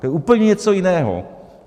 To je úplně něco jiného.